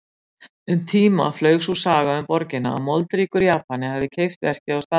Um tíma flaug sú saga um borgina að moldríkur Japani hefði keypt verkið á staðnum.